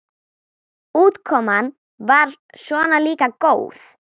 Útkoman var svona líka góð.